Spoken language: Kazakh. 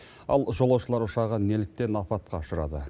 ал жолаушылар ұшағы неліктен апатқа ұшырады